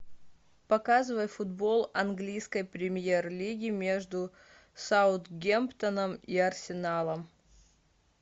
показывай футбол английской премьер лиги между саутгемптоном и арсеналом